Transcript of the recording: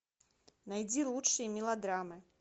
найди лучшие мелодрамы